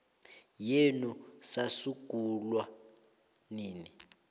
yenu sasungulwa nini